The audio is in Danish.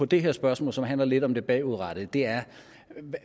det her spørgsmål som handler lidt om det bagudrettede er